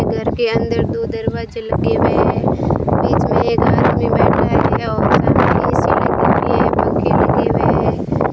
घर के अंदर दो दरवाजे लगे हुए हैं बीच में एक आदमी बैठ है और सामने ए_सी लगी हुईं हैं पंखे लगे हुए हैं।